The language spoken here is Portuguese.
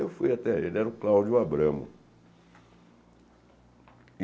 Eu fui até... Ele era o Cláudio Abramo.